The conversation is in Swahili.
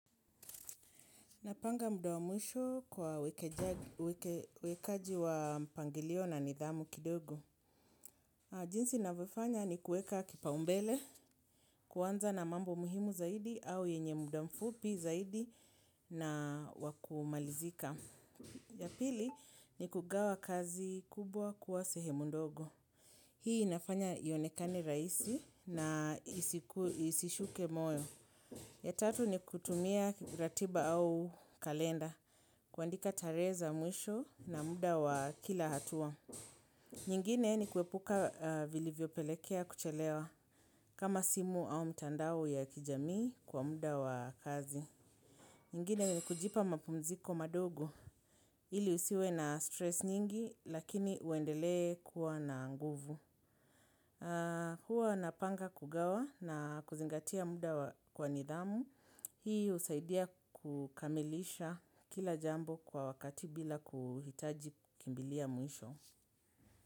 Napanga muda wa mwisho kwa uwekaji wa mpangilio na nidhamu kidogo. Jinsi ninavyofanya ni kueka kipaombele, kuanza na mambo muhimu zaidi au yenye muda mfupi zaidi na wakumalizika. Ya pili, ni kugawa kazi kubwa kuwa sehemu ndogo. Hii inafanya ionekane rahisi na isishuke moyo. Ya tatu, ni kutumia ratiba au kalenda kuandika tarehe za mwisho na muda wa kila hatua. Nyingine ni kuepuka vilivyo pelekea kuchelewa kama simu au mtandao ya kijamii kwa muda wa kazi. Nyingine ni kujipa mapumziko madogo ili usiwe na stress nyingi lakini uendele kuwa na nguvu. Hua napanga kugawa na kuzingatia muda kwa nidhamu. Hii usaidia kukamilisha kila jambo kwa wakati bila kuhitaji kimbilia mwisho.